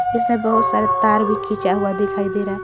इसमें बहुत सारे तार भी खींचा हुआ दिखाई दे रहा है।